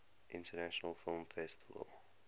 international film festival